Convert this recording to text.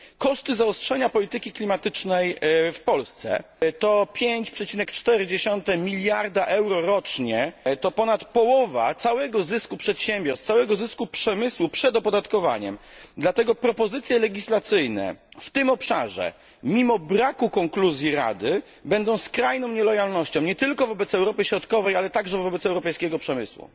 Koszty zaostrzenia polityki klimatycznej w Polsce to 5,4 mld euro rocznie, to ponad połowa całego zysku przedsiębiorstw, całego zysku przemysłu przed opodatkowaniem, dlatego propozycje legislacyjne w tym obszarze mimo braku konkluzji Rady będą skrajną nielojalnością nie tylko wobec Europy Środkowej, ale także wobec europejskiego przemysłu.